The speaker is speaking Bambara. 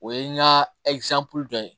O ye n ka dɔ ye